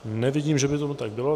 Nevidím, že by tomu tak bylo.